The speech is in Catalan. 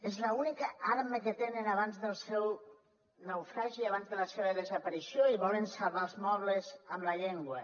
és l’única arma que tenen abans del seu naufragi abans de la seva desaparició i volen salvar els mobles amb la llengua